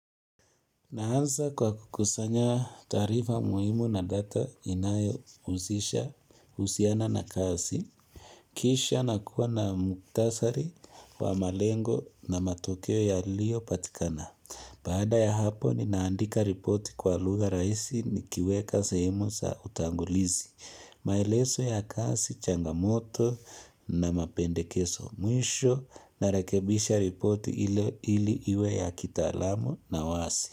Naanza kwa kukusanya taarifa muhimu na data inayo uzisha, usiana na kasi, kisha na kuwa na muktasari wa malengo na matokeo ya lio patikana. Baada ya hapo ni naandika ripoti kwa lugha raisi ni kiweka sehemu sa utangulizi, maeleso ya kasi changamoto na mapende keso mwisho na rekebisha ripoti ili iwe ya kita alamu na wasi.